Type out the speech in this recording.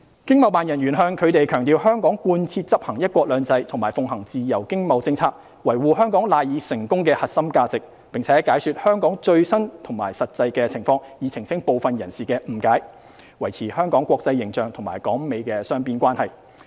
經貿辦人員向他們強調香港貫徹執行"一國兩制"和奉行自由經貿政策，維護香港賴以成功的核心價值，並解說香港最新及實際情況，以澄清部分人士的誤解，維持香港國際形象及港美雙邊關係。